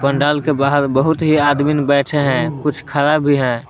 पंडाल के बाहर बहुत ही आदमीन बैठे है कुछ खड़ा भी हैं।